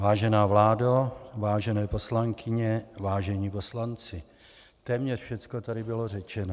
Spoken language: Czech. Vážená vládo, vážené poslankyně, vážení poslanci, téměř všecko tady bylo řečeno.